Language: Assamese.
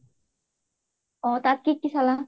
অ তাত কি কি চালা?